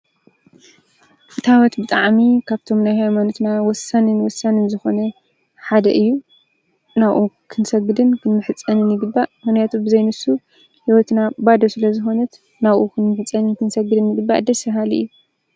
ታወት ብጣዕሚ ካብቶም ናይ ሃይማኖት ወሳኒን ወሳኒን ዝኮነ ሓደ እዩ፡፡ ንዕኡ ክንሰግድን ክንምሕፀንን ይግባእ፡፡ ምክንያቱ ሂወትና ብዘይ ንሱ ባዶ ስለ ዝኮነት ናብኡ ክንምሕፀንን ክንሰግድን ይግባእ ደስ ባሃሊ እዩ፡፡